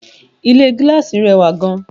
Ilé gíláàsì rẹwà gan